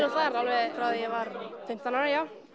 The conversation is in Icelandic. og þar alveg frá því að ég var fimmtán ára já